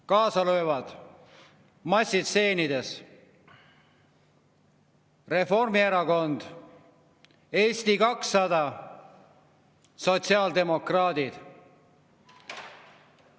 Kaasa löövad massistseenides: Reformierakond, Eesti 200, sotsiaaldemokraadid.